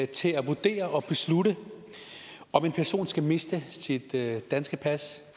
til at vurdere og beslutte om en person skal miste sit danske pas